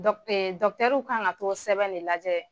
Dɔkitɛriw kan ka t'o sɛbɛn in da lajɛ.